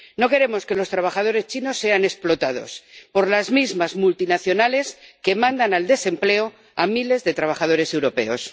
No queremos que los trabajadores chinos sean explotados por las mismas multinacionales que mandan al desempleo a miles de trabajadores europeos.